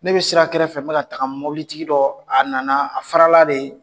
Ne bɛ sira kɛrɛfɛ fɛ, n bɛ ka taga mobilitigi dɔ a nana a farala de